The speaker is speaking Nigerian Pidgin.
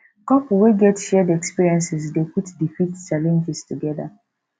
couple we get shared experiences dey quick defeat challenges together